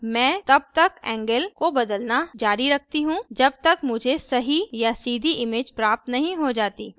अतः मैं तब तक angle angle को बदलना जारी रखती हूँ जब तक मुझे सही और सीधी image प्राप्त नहीं हो जाती